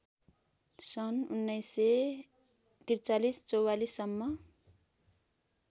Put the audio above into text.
सन् १९४३ ४४ सम्म